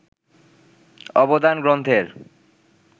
অবদান গ্রন্থের